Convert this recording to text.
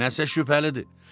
Nəsə şübhəlidir.